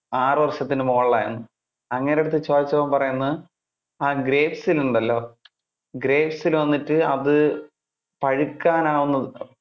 ആറു വർഷത്തിന് മുകളിൽ ആയെന്ന്‌. അങ്ങേരുടെ അടുത്ത് ചോദിച്ചപ്പോൾ പറയുന്നത്, ആ grapes ൽ ഉണ്ടല്ലോ grapes ലു വന്നിട്ട് അത് പഴുക്കാനാവുന്ന~